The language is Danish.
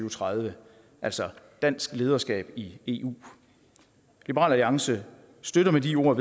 og tredive altså dansk lederskab i eu liberal alliance støtter med de ord